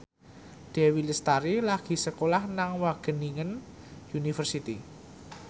Dewi Lestari lagi sekolah nang Wageningen University